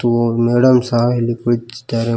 ಮತ್ತು ಮೇಡಂ ಸಹ ಇಲ್ಲಿ ಕುಳಿತಿದ್ದಾರೆ.